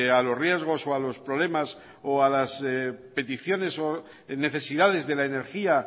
a los riesgos o a los problemas o a las peticiones o necesidades de la energía